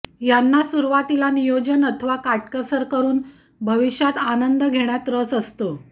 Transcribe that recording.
यांना सुरुवातीला नियोजन अथवा काटकसर करून भविष्यात आनंद घेण्यात रस असतो